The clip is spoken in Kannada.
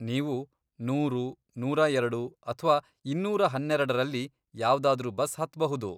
ನೀವು ನೂರು, ನೂರಾ ಎರಡು, ಅಥ್ವಾ ಇನ್ನೂರ ಹನ್ನೆರೆಡರಲ್ಲಿ ಯಾವ್ದಾದ್ರೂ ಬಸ್ ಹತ್ಬಹುದು.